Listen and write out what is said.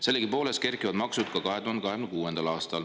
Sellegipoolest kerkivad maksud ka 2026. aastal.